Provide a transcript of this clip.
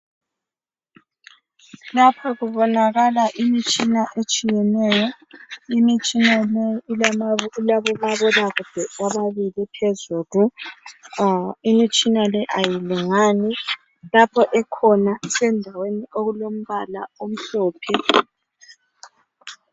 Lapha kubonakala imitshina etshiyeneyo. Imitshina leyi ilama ilabomabonakude ababili phezulu, ah imitshina le ayilingani. Lapho ekhona isendaweni okulombala omhlophe.